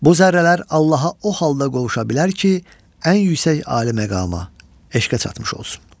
Bu zərrələr Allaha o halda qovuşa bilər ki, ən yüksək ali məqama, eşqə çatmış olsun.